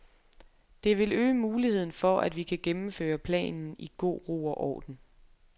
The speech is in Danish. Det vil øge muligheden for, at vi kan gennemføre planen i god ro og orden.